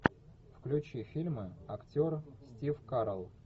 включи фильмы актер стив карелл